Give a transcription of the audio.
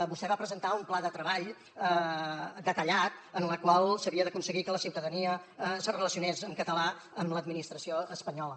vostè va presentar un pla de treball detallat en el qual s’havia d’aconseguir que la ciutadania se relacionés en català amb l’administració espanyola